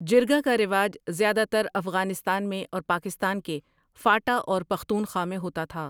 جرگہ کا رواج زیادہ تر افغانستان میں اور پاکستان کے فاٹا اور پختونخوا میں ہوتا تھا ۔